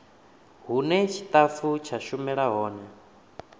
hune tshitafu tsha shumela hone